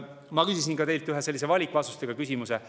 Ma küsisin teilt ühe valikvastustega küsimuse.